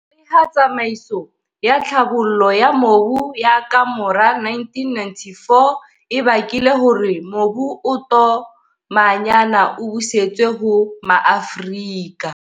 Leha tsamaiso ya tlhabollo ya mobu ya kamora 1994 e bakile hore mobu o tomanyana o busetswe ho MaAfrika.